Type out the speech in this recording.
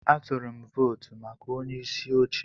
Atụrụ m votu maka onyeisi oche.